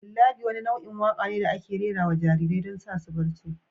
lullaby wani nau'in waƙa ne da ake rera wa jarirai don sa su bacci.